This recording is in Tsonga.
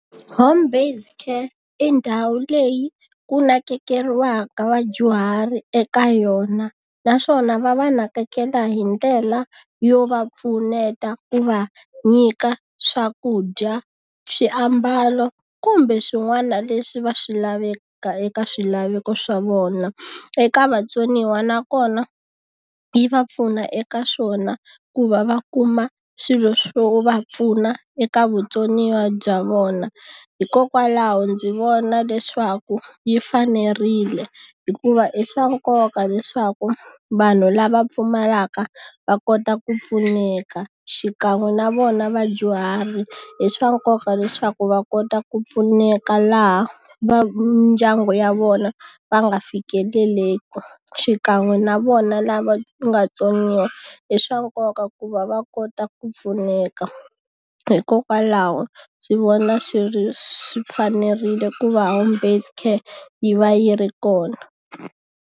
Home based care i ndhawu leyi ku nakekeriwa mhaka vadyuhari eka yona, naswona va va nakekela hi ndlela yo va pfuneta ku va nyika swakudya, swiambalo, kumbe swin'wana leswi va swi laveka eka swilaveko swa vona. Eka vatsoniwa nakona yi va pfuna eka swona ku va va kuma swilo swo va pfuna eka vutsoniwa bya vona. Hikokwalaho ndzi vona leswaku yi fanerile, hikuva i swa nkoka leswaku vanhu lava pfumalaka va kota ku pfuneka xikan'we na vona vadyuhari hi swa nkoka leswaku va kota ku pfuneka laha va ndyangu ya vona va nga fikeleleki. Xikan'we na vona lava nga tsoniwa i swa nkoka ku va va kota ku pfuneka. Hikokwalaho ndzi vona swi swi fanerile ku va home based care yi va yi ri kona.